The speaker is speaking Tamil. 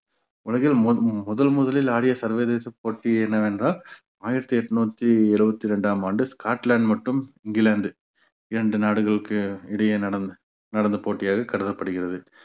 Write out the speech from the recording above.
உலகில் மு~ முதன் முதலில் ஆடிய சர்வதேச போட்டி என்னவென்றால் ஆயிரத்தி எட்நூத்தி இருவத்தி இரண்டாம் ஆண்டு ஸ்காட்லாந்து மட்டும் இங்கிலாந்து இரண்டு நாடுகளுக்கு இடையே நடந்~ நடந்த போட்டியாக கருதப்படுகிறது